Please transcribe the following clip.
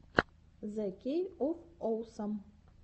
зе кей оф оусам